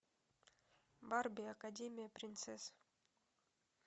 барби академия принцесс